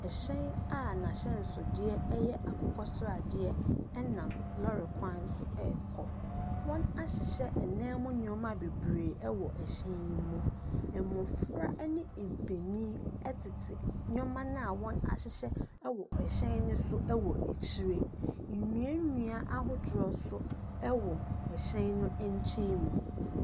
Ɛhyɛn a n'ahyɛnsodeɛ yɛ akokɔsradeɛ nam lɔɔre kwan so rekɔ. Wɔahyehyɛ ɛdan mu nneɛma bebree wɔ ɛhyɛn yi mu. Mmɔfra ne mpanin tete nneɛma no a wɔahyehyɛ wɔ ɛhyɛn no so wɔ akyire. Nnua nnua ahodoɔ nso wɔ ɛhyɛn no nkyɛn mu.